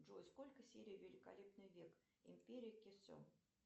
джой сколько серий великолепный век империя кесем